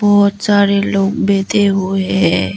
बहुत सारे लोग बैठे हुए है।